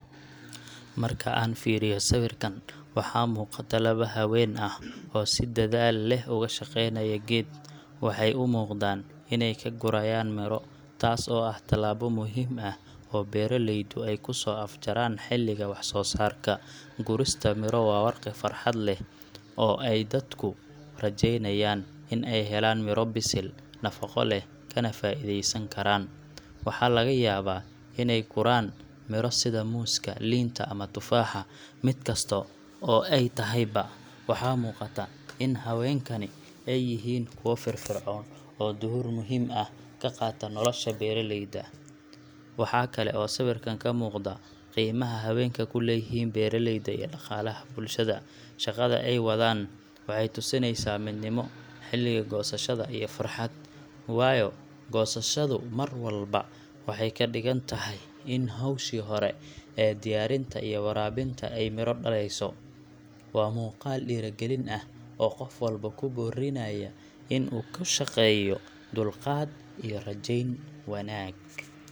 Marka aan fiiriyo sawirkan, waxa muuqata laba haween ah oo si dadaal leh uga shaqaynaya geed. Waxay u muuqdaan inay ka gurayaan miro, taas oo ah tallaabo muhiim ah oo beeraleydu ay ku soo afjaraan xilliga wax-soo-saarka. Gurista miro waa waqti farxad leh oo ay dadku rajeynayaan in ay helaan midho bisil, nafaqo leh, kana faa’iideysan karaan. Waxaa laga yaabaa in ay gurayaan miro sida muuska, liinta, ama tufaaxa mid kasta oo ay tahayba, waxaa muuqata in haweenkani ay yihiin kuwo firfircoon oo door muhiim ah ka qaata nolosha beeraleyda. Waxa kale oo sawirkan ka muuqda qiimaha haweenka ku leeyihiin beeraleyda iyo dhaqaalaha bulshada. Shaqada ay wadaan waxay tusinaysaa midnimo, xilliga goosashada, iyo farxad waayo goosashadu mar walba waxay ka dhigan tahay in hawshii hore ee diyaarinta iyo waraabinta ay midho dhalayso. Waa muuqaal dhiirrigelin ah oo qof walba ku boorrinaya in uu ku shaqeeyo dulqaad iyo rajayn wanaag.